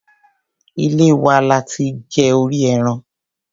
Ilé wa lo ti jẹ orí ẹran.